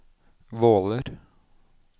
Våler